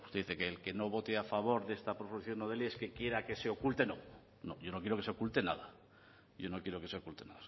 usted dice el que no vote a favor de esta proposición no de ley es que quiera que se oculte no no yo no quiero que se oculte nada yo no quiero que se oculta